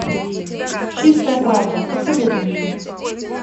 чистая правда посоветуй мне